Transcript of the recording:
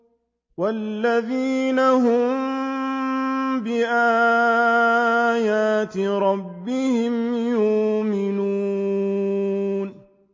وَالَّذِينَ هُم بِآيَاتِ رَبِّهِمْ يُؤْمِنُونَ